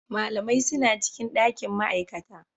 Malamai suna cikin ɗakin ma'aikata.